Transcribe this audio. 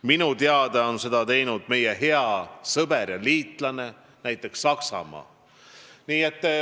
Minu teada on seda teinud näiteks meie hea sõber ja liitlane Saksamaa.